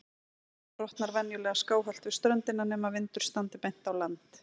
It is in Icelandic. Brimaldan brotnar venjulega skáhallt við ströndina, nema vindur standi beint á land.